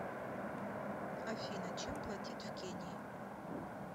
афина чем платить в кении